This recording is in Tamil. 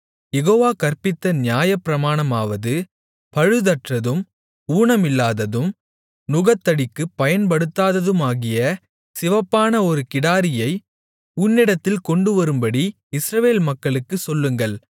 யெகோவா கற்பித்த நியமப்பிரமாணமாவது பழுதற்றதும் ஊனமில்லாததும் நுகத்தடிக்கு பயன்படுத்தாதுமாகிய சிவப்பான ஒரு கிடாரியை உன்னிடத்தில் கொண்டுவரும்படி இஸ்ரவேல் மக்களுக்குச் சொல்லுங்கள்